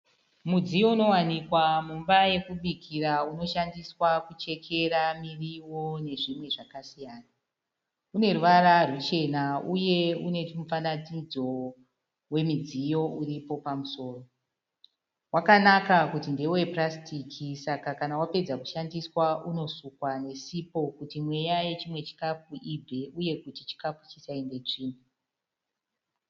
Mudziyo unowanikwa muimba yekubikira unoshandiswa kuchekera miriwo nezvimwe zvakasiyana. Une ruvara ruchena uye une mufananidzo wemidziyo uripo pamusoro. Wakanaka kuti ndewe purasitiki saka kana wapedza kushandiswa unosukwa nesipo kuti mweya yechimwe chikafu ibve uye kuti chikafu chisaende tsvina.